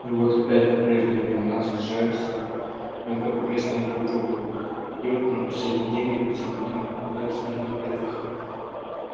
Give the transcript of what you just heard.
и вот опять как в прежние времена съезжаются мелкопоместные друг к другу пьют на последние деньги по целым дням пропадают в снежных полях